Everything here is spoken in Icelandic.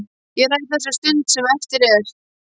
Ég ræð þessari stund sem eftir er.